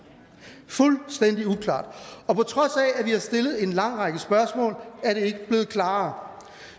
fuldstændig uklart på trods af at vi har stillet en lang række spørgsmål er det ikke blevet klarere